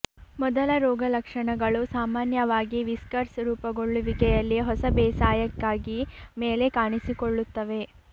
ಮೊದಲ ರೋಗಲಕ್ಷಣಗಳು ಸಾಮಾನ್ಯವಾಗಿ ವಿಸ್ಕರ್ಸ್ ರೂಪುಗೊಳ್ಳುವಿಕೆಯಲ್ಲಿ ಹೊಸ ಬೇಸಾಯಕ್ಕಾಗಿ ಮೇಲೆ ಕಾಣಿಸಿಕೊಳ್ಳುತ್ತವೆ